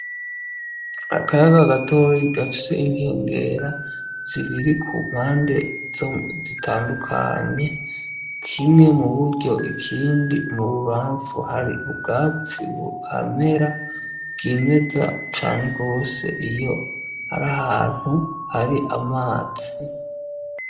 Akaya ka gatoyi gafse inkengera zibiri ku mpande zo zitandukanye kimwe mu buryo ikindi mu bubamfu hari ubwatsi buhamera bw'imeza cane rwose iyo ari ahantu hari amazi ya.